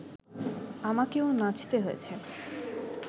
আমাকেও নাচতে হয়েছে